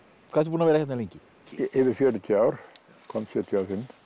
hvað ertu búinn að vera hérna lengi yfir fjörutíu ár kom sjötíu